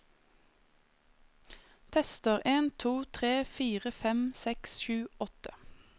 Tester en to tre fire fem seks sju åtte